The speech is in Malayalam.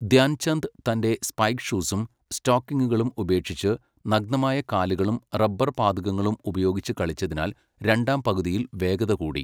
ധ്യാൻ ചന്ദ് തൻ്റെ സ്പൈക്ക് ഷൂസും സ്റ്റോക്കിംഗുകളും ഉപേക്ഷിച്ച്, നഗ്നമായ കാലുകളും റബ്ബർ പാദുകങ്ങളും ഉപയോഗിച്ച് കളിച്ചതിനാൽ രണ്ടാം പകുതിയിൽ വേഗത കൂടി.